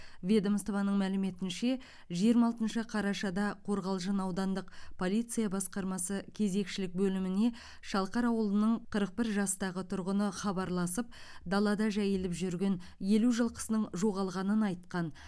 ведомствоның мәліметінше жиырма алтыншы қарашада қорғалжын аудандық полиция басқармасы кезекшілік бөліміне шалқар ауылының қырық бір жастағы тұрғыны хабарласып далада жайылып жүрген елу жылқысының жоғалғанын айтқан